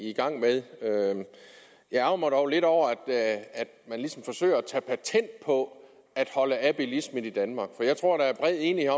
i gang med jeg ærgrer mig dog lidt over at man ligesom forsøger at tage patent på at holde af bilismen i danmark for jeg tror der er bred enighed